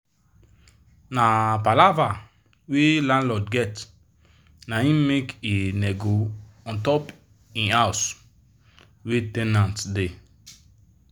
na palava wey landlord get naim make he come nego untop him house wey ten ant da